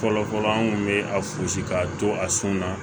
Fɔlɔfɔlɔ an kun be a fusi k'a to a sun na